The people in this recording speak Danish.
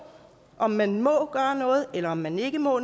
om man må gøre noget eller om man ikke må